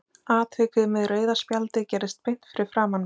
Atvikið með rauða spjaldið gerðist beint fyrir framan mig.